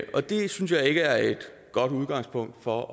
og det synes jeg ikke er et godt udgangspunkt for